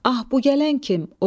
Ah, bu gələn kim?